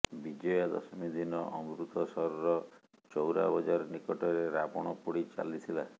ବିଜୟା ଦଶମୀ ଦିନ ଅମୃତସରର ଚୌରା ବଜାର ନିକଟରେ ରାବଣପୋଡ଼ି ଚାଲିଥିଲା